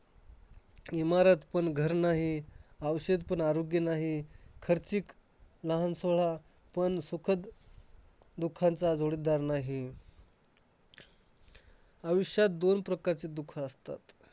इमारत पण घर नाही. औषध पण आरोग्य नाही. खर्चिक लहान सोहळा पण सुखद दुःखांचा जोडीदार नाही. आयुष्यात दोन प्रकारचे दुःख असतात.